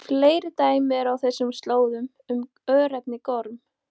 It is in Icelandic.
Fleiri dæmi eru á þessum slóðum um örnefnið Gorm.